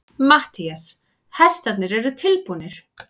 MATTHÍAS: Hestarnir eru tilbúnir.